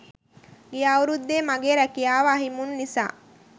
ගිය අවුරුද්දේ මගේ රැකියාව අහිමි වුනු නිසා